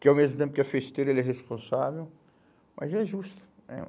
que ao mesmo tempo que é festeiro, ele é responsável, mas é justo, né?